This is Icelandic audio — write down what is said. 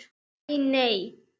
Æ, nei.